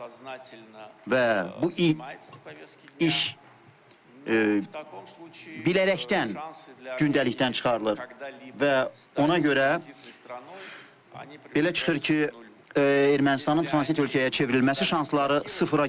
Və bu iş bilərəkdən gündəlikdən çıxarılır və ona görə belə çıxır ki, Ermənistanın tranzit ölkəyə çevrilməsi şansları sıfıra gedir.